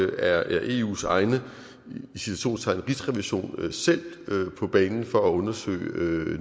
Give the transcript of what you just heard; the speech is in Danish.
er eus egen i citationstegn rigsrevision selv på banen for at undersøge